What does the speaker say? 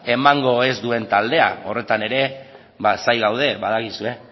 emango ez duen taldea horretan ere zain gaude badakizue